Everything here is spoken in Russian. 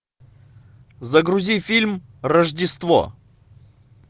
загрузи фильм рождество